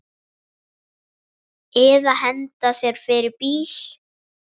Eða hendi sér fyrir bíl.